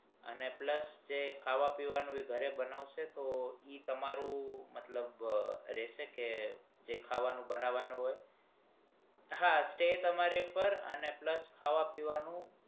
અને plus જે ખાવા પીવાનું ઘરે બનાવાસો તો ઈ તમારું મતલબ રહશે કે જે ખાવાનું બનવાનું હોય